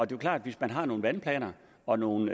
det er klart at hvis man har nogle vandplaner og nogle